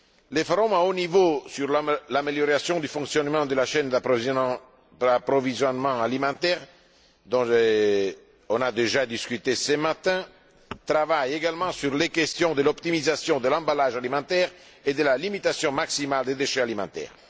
Les forums à haut niveau sur l'amélioration du fonctionnement de la chaîne d'approvisionnement alimentaire, dont nous avons déjà discuté ce matin, travaillent également sur les questions de l'optimisation de l'emballage alimentaire et de la limitation maximale des déchets alimentaires.